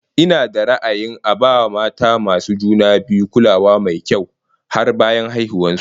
Ina da ra'ayin a ba mata masu juna biyu kulawa mai kyau har bayan haihuwar su